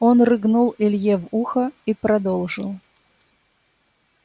он рыгнул илье в ухо и продолжил